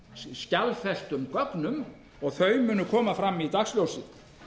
skjalfestum gögnum og þau munu koma fram í dagsljósið